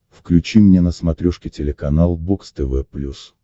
включи мне на смотрешке телеканал бокс тв плюс